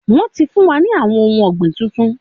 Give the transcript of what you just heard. Wọ́n ti fún wa ní àwọn ohun ọ̀gbìn tuntun